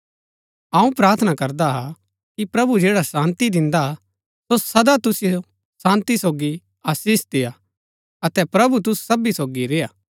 अऊँ प्रार्थना करदा हा कि प्रभु जैडा शान्ती दिन्दा हा सो सदा तुसिओ शान्ती सोगी आशीष देय्आ अतै प्रभु तुसु सबी सोगी रेय्आ